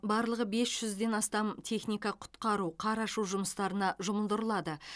барлығы бес жүзден астам техника құтқару қар аршу жұмыстарына жұмылдырылады